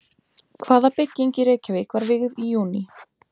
Hvaða bygging í Reykjavík var vígð í júní?